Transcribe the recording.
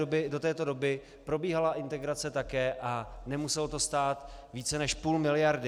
Do této doby probíhala integrace také a nemuselo to stát více než půl miliardy.